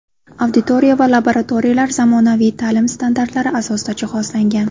Auditoriya va laboratoriyalar zamonaviy ta’lim standartlari asosida jihozlangan.